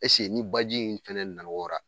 ni baji in fɛnɛ nawora